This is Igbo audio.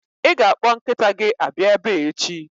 Ị ga-akpọ nkịta gị abịa ebe a echi!